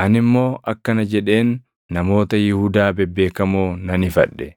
Ani immoo akkana jedheen namoota Yihuudaa bebeekamoo nan ifadhe;